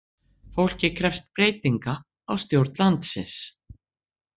Fólkið krefst breytinga á stjórn landsins